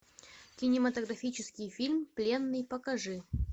кинематографический фильм пленный покажи